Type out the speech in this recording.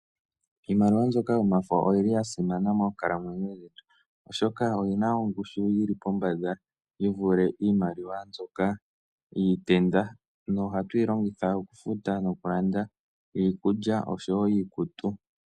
Iimaliwa mbyoka yomafo oyo yi li ya simana moonkalamwenyo dhetu, oshoka oyi na ongushu yi li pombanda yi vule iimaliwa mbyoka yiitenda, noha tu yi longitha oku futa noku landa iikulya nosho wo iikutu.